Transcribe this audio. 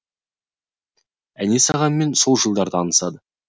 әнес ағамен сол жылдары танысады